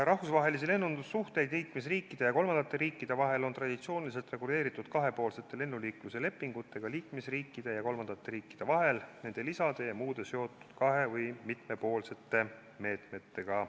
Rahvusvahelisi lennundussuhteid Euroopa Liidu liikmesriikide ja kolmandate riikide vahel on traditsiooniliselt reguleeritud kahepoolsete lennuliikluse lepingutega, nende lisade ja muude asjaomaste kahe- või mitmepoolsete meetmetega.